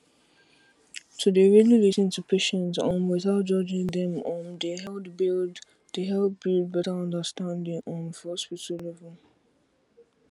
to dey really lis ten to patients um without judging dem um dey help build dey help build better understanding um for hospital level